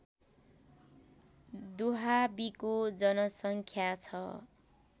दुहाबीको जनसङ्ख्या छ